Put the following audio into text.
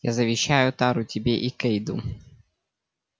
я завещаю тару тебе и кэйду